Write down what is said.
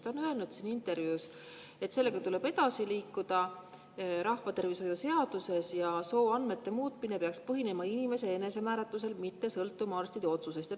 Ta on öelnud intervjuus, et sellega tuleb edasi liikuda rahvatervishoiu seaduses ja sooandmete muutmine peaks põhinema inimese enesemääratlusel, mitte sõltuma arstide otsusest.